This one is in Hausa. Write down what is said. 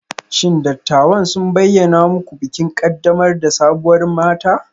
Shin dattawan sun bayyana muku bikin ƙaddamar da sabuwar mata?